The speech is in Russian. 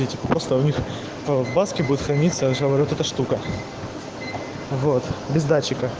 колбаски будет храниться живёт эта штука вот беда